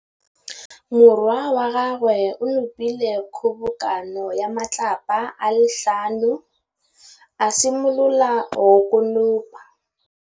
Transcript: Morwa wa gagwe o nopile kgobokanô ya matlapa a le tlhano, a simolola go konopa.